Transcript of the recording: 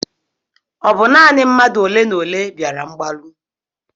Ọ bụ naanị mmadụ olenaole bịara mgbaru?